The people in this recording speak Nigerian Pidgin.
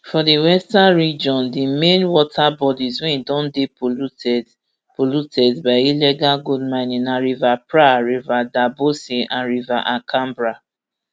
for di western region di main water bodies wey don dey polluted polluted by illegal gold mining na river pra river daboase and river ankabra